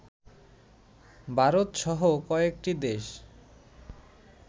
ভারতসহ কয়েকটি দেশ